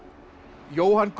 Jóhann Gunnar